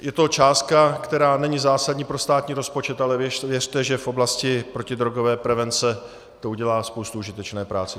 Je to částka, která není zásadní pro státní rozpočet, ale věřte, že v oblasti protidrogové prevence to udělá spoustu užitečné práce.